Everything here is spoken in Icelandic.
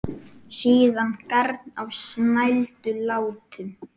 Síðan garn á snældu látum.